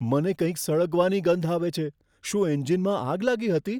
મને કંઈક સળગવાની ગંધ આવે છે. શું એન્જિનમાં આગ લાગી હતી?